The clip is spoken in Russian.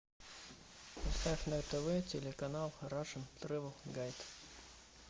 поставь на тв телеканал рашн трэвел гайд